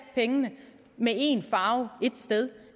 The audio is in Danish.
pengene med en farve et sted